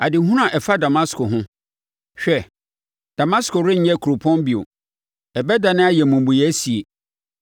Adehunu a ɛfa Damasko ho: “Hwɛ, Damasko renyɛ kuropɔn bio ɛbɛdane ayɛ mmubuiɛ sie.